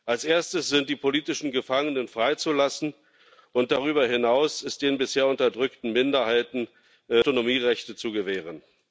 Als erstes sind die politischen Gefangenen freizulassen, und darüber hinaus sind den bisher unterdrückten Minderheiten Autonomierechte zu gewähren.